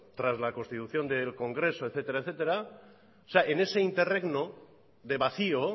tras la constitución del congreso etcétera etcétera o sea en ese interregno de vacío